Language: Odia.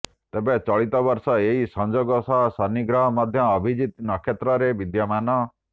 ତେବେ ଚଳିତ ବର୍ଷ ଏହି ସଂଯୋଗ ସହ ଶନି ଗ୍ରହ ମଧ୍ୟ ଅଭିଜିତ ନକ୍ଷତ୍ରରେ ବିଦ୍ୟମାନ